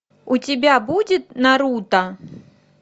у тебя будет наруто